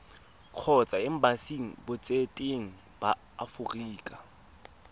kgotsa embasing botseteng ba aforika